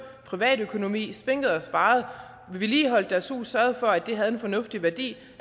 privatøkonomi spinket og sparet vedligeholdt deres hus og sørget for at det havde en fornuftig værdi